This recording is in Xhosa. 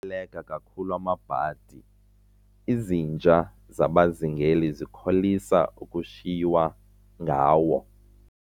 baleka kakhulu amabhadi, izinja zabazingeli zikholisa ukushiywa ngawo.